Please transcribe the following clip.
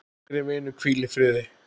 Kæri vinur, hvíl í friði.